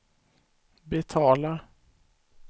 betalar